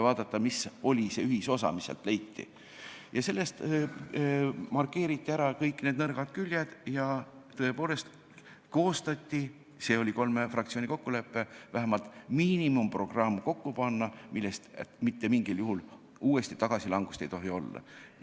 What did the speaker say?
Vaadati, mis oli see ühisosa, ja markeeriti ära kõik nõrgad küljed ja tõepoolest koostati – see oli kolme fraktsiooni kokkulepe – vähemalt miinimumprogramm, millest mitte mingil juhul uut tagasilangust olla ei tohi.